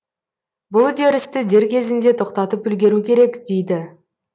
бұл үдерісті дер кезінде тоқтатып үлгеру керек дейді